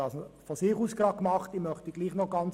Madeleine Amstutz hat dies nun von sich aus beantragt.